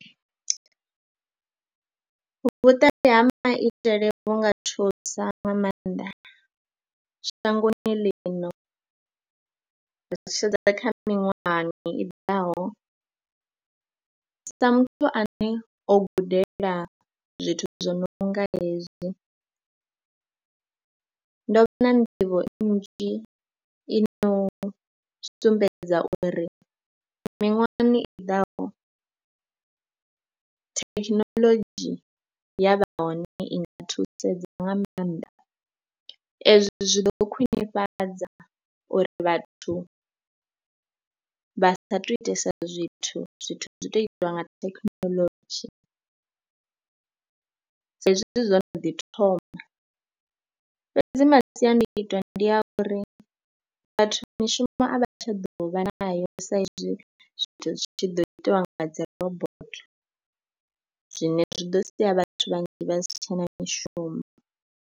Vhuṱali ha maitele vhu nga thusa nga maanḓa shangoni lino, ri tshi sedza kha miṅwahani i ḓaho, sa muthu ane o gudela zwithu zwo no nga hezwi ndo vha na nḓivho nnzhi i no sumbedza uri miṅwahani i ḓaho thekhinoḽodzhi ya vha hone i nga thusedza nga maanḓa. Ezwo zwi ḓo khwinifhadza uri vhathu vha sa thu itesa zwithu, zwithu zwo tou itiwa nga thekhinolodzhi saizwi zwo no ḓi thoma. Fhedzi masiandaitwa ndi a uri vhathu mishumo a vha tsha ḓo vha nayo saizwi zwithu zwi tshi ḓo itwa nga dzi robotho zwine zwi ḓo sia vhathu vhanzhi vha si tshe na mishumo.